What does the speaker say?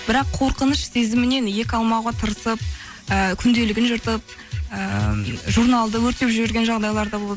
бірақ қорқыныш сезімінен екі алмауға тырысып ііі күнделігін жыртып ыыы журналды өртеп жіберген жағдайлар да болды